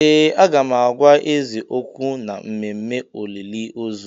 Ee! Aga m agwa eze okwu n'ememme olili ozù.